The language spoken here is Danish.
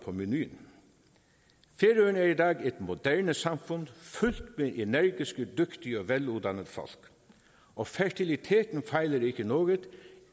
på menuen færøerne er i dag et moderne samfund fyldt med energiske dygtige og veluddannede folk og fertiliteten fejler ikke noget